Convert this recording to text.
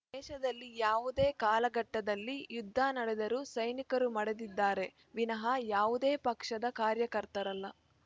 ದೇಶದಲ್ಲಿ ಯಾವುದೇ ಕಾಲಘಟ್ಟದಲ್ಲಿ ಯುದ್ದ ನಡೆದರೂ ಸೈನಿಕರು ಮಡಿದಿದ್ದಾರೆ ವಿನಹ ಯಾವುದೇ ಪಕ್ಷದ ಕಾರ್ಯಕರ್ತರಲ್ಲ